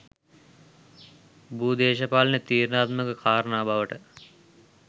භූදේශපාලනයේ තීරණාත්මක කාරණා බවට